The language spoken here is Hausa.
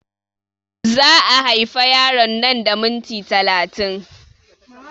Za a haifa yaron nan da minti talatin